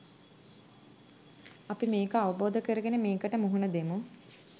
අපි මේක අවබෝධ කරගෙන මේකට මුහුණ දෙමු.